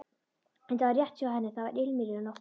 Þetta var rétt hjá henni, það var ilmur í loftinu.